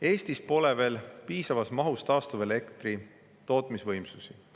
Eestis pole veel piisavas mahus taastuvatel elektritootmisvõimsusi.